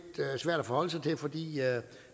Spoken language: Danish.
svært at forholde sig til fordi